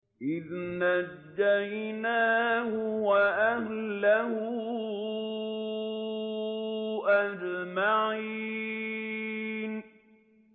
إِذْ نَجَّيْنَاهُ وَأَهْلَهُ أَجْمَعِينَ